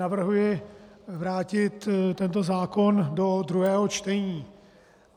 Navrhuji vrátit tento zákon do druhého čtení.